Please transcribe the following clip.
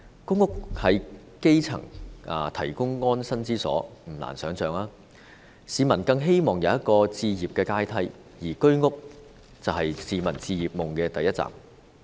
公屋為基層提供安身之所，而不難的想象是，市民更希望有一個置業的階梯，而居者有其屋便是市民置業夢的第一站。